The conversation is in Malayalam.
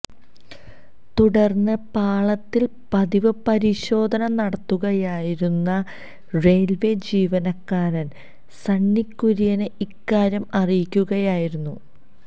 തുടര്ന്ന് പാളത്തില് പതിവ് പരിശോധന നടത്തുകയായിരുന്ന റെയില്വെ ജീവനക്കാരന് സണ്ണി കുര്യനെ ഇക്കാര്യം അറിയിക്കുകയായിരുന്നു